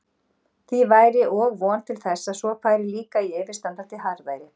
Því væri og von til þess að svo færi líka í yfirstandandi harðæri.